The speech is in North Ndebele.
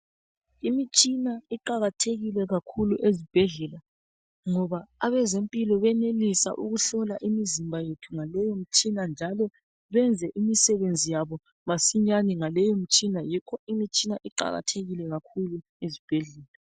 Imitshina iqakathekile kakhulu ezibhedlela ngoba abezempilo benelisa ukuhlola imizimba yethu ngaleyo mitshina njalo benze imisebenzi yabo masinyane ngaleyi mitshina yikho imitshina iqakathekile kakhulu ezibhedlela.